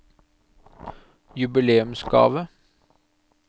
jubileumsgave